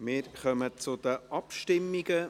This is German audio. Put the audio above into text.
Wir kommen zu den Abstimmungen.